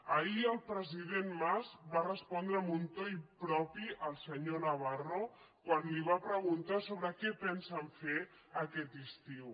ahir el president mas va respondre amb un to impropi al senyor navarro quan li va preguntar sobre què pensen fer aquest estiu